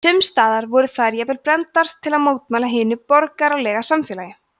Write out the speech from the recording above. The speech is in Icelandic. sums staðar voru þær jafnvel brenndar til að mótmæla hinu borgaralega samfélagi